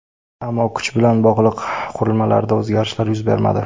Ammo kuch bilan bog‘liq qurilmalarida o‘zgarishlar yuz bermadi.